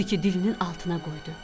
Odu ki dilinin altına qoydu.